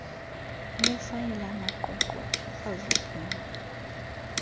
lwefayile amaqweqwe akrazukileyo